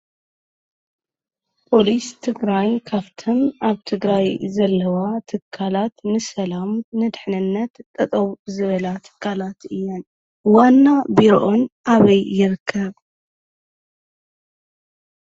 ፖሊስ ትግራይ ካፍተን ኣብ ትግራይ ዘለዋ ትካላት ንሰላም ንድሕንነት ጠጠው ዝበላ ትካላት እየን። ዋና ቢሮኣን ኣበይ ይርከብ?